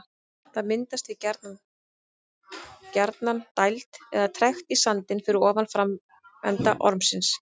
Það myndast því gjarnan gjarnan dæld eða trekt í sandinn fyrir ofan framenda ormsins.